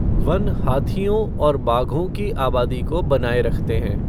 One हाथियों और बाघों की आबादी को बनाए रखते हैं।